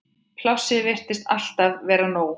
Plássið virtist alltaf vera nóg.